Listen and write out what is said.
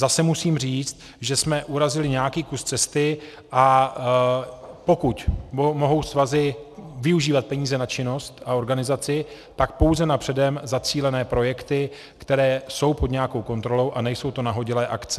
Zase musím říct, že jsme urazili nějaký kus cesty, a pokud mohou svazy využívat peníze na činnost a organizaci, tak pouze na předem zacílené projekty, které jsou pod nějakou kontrolou a nejsou to nahodilé akce.